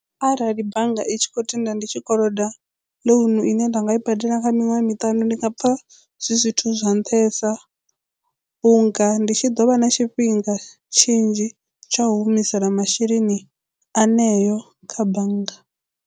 Arali bannga i tshi khou tenda ndi tshi koloda ḽounu ine nda nga i badela kha miṅwaha miṱanu ndi nga pfha zwi zwithu zwa nṱhesa vhunga ndi tshi ḓo vha na tshifhinga tshinzhi tsha u humisela masheleni aṋeo kha bannga.